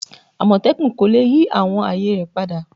Amotekun ko le yi awọn aaye rẹ pada